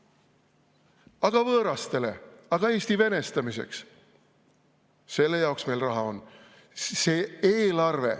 Aga võõrastele, aga Eesti venestamiseks – selle jaoks meil raha on.